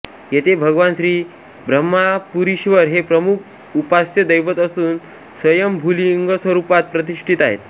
येथे भगवान श्री ब्रह्मपुरीश्वर हे प्रमुख उपास्य दैवत असून स्वयंभूलिंगस्वरूपात प्रतिष्ठित आहेत